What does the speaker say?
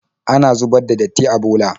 Ana zubar da datti a bola.